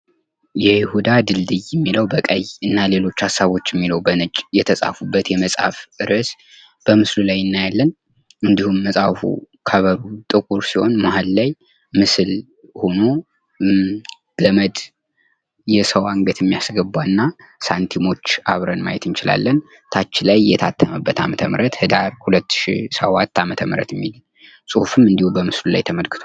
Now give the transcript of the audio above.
የይሁዳ ድልድይ የሚለው በቀይ እና ሌሎች ሀሳቦች የሚለው በነጭ ቀለም የተጻፈበት የመጽሐፍ ርእሰ በምስሉ ላይ እናያለን። እንድሁም መጽሐፉ ከቨሩ ጥቁር ሲሆን መሀል ላይ ምስል ገመድ የሰው አንገት የሚያስገባና ሳንቲሞች አብረን ማየት እንችል። ከታች ላይ የታተመበት ዓመተ ምህረት ህዳር 2007 ዓ.ም የሚል ጽሑፍም እንድሁ በምስሉ ተመልክቷል።